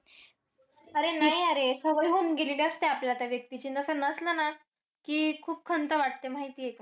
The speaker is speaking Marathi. अरे नाही अरे. सवय होऊन गेलेली असते आपल्याला त्या व्यक्तीची. तसं नसलं ना, कि खूप खंत वाटते. माहितीय का?